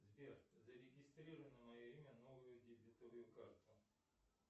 сбер зарегистрируй на мое имя новую дебетовую карту